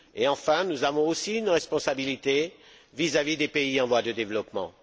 Et, enfin, nous avons aussi une responsabilité vis à vis des pays en voie de développement.